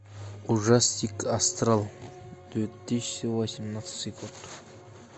ужастик астрал две тысячи восемнадцатый год